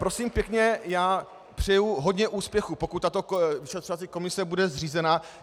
Prosím pěkně, já přeju hodně úspěchů, pokud tato vyšetřovací komise bude zřízena.